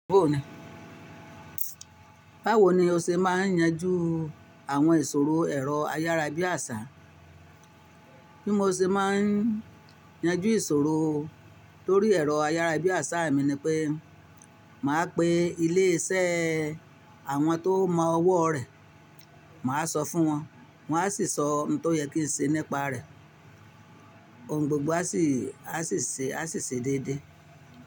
Báwo ni o ṣe máa ń yanjú àwọn ìṣòro ẹ̀rọ ayára bí àṣá? Bí mo ṣe máa ń yanjú ìṣòro lorí ẹ̀rọ ayára bí àṣá mi ni pé màá pe ilé iṣẹ́ àwọn tó mọ ọwọ́ rẹ̀, màá sọ fún wọn, wọ́n á sì sọ ohun tó yẹ kí n ṣe nípa rẹ̀. Ohun gbogbo á sì ṣe déédéé.